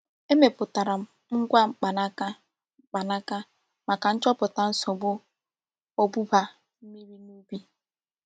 Emepụtara m ngwa mkpanaka mkpanaka maka nchọpụta nsogbu ogbugba mmiri n'ubi.